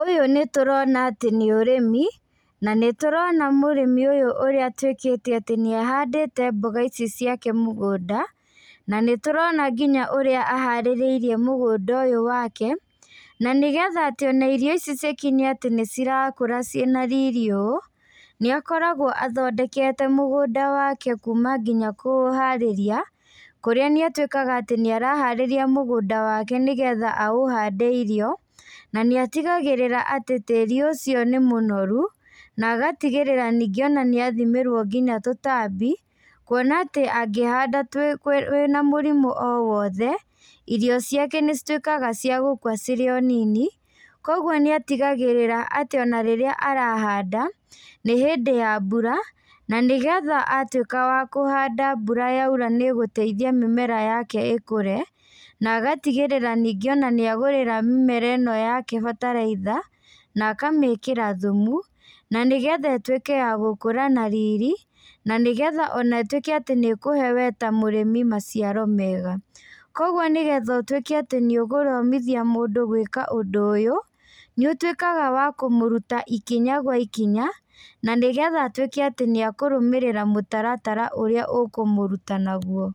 Ũyũ nĩtũrona atĩ nĩ ũrĩmi na nĩtũrona mũrĩmi ũyũ ũrĩa atuĩkĩte atĩ nĩahandĩte mboga ici ciake mũgũnda, na nĩtũrona nginya ũrĩa aharĩrĩirie mũgũnda ũyũ wake. Na nĩgetha atĩ ona irio ici cikinye atĩ nĩcirakũra ciĩ na riri ũũ, nĩakoragwo athondekete mũgũnda wake kuma nginya kũũharĩria, kũrĩa nĩ atuĩkaga nĩaraharĩria mũgũnda wake nĩgetha aũhande irio na nĩatigagĩrĩra atĩ tĩri ũcio nĩ mũnoru, na agatigĩrĩra ningĩ nĩathimĩrwo nginya tũtambi kuona atĩ, angĩhanda wĩna mũrimũ o wothe irio ciake nĩcituĩkaga cia gũkua cirĩ o nini. Koguo nĩatigagĩrĩra atĩ onarĩrĩa arahanda nĩ hĩndĩ ya mbura na nĩgetha atuĩka wa kũhanda mbura yaura nĩgũteithia mĩera yake ĩkũre, na agatigĩrĩra ningĩ ona nĩagũrĩra mĩmera ĩno yake bataraitha na akamĩkĩra thumu na nĩgetha ĩtuĩke ya gũkũra na riri, na nĩgetha ĩtuĩke atĩ nĩ kũhe we ta mũrĩmi maciaro mega. Koguo nĩgetha ũtuĩke atĩ nĩũgũthomithia mũndũ gwĩka ũndũ ũyũ nĩũtuĩkaga wa kũmũruta ikinya gwa ikinya na nĩgetha atuĩke atĩ nĩakũrũmĩrĩra mũtaratara ũrĩa ũkũmũruta naguo.